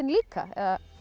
líka